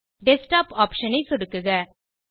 desktop option ஐ சொடுக்குக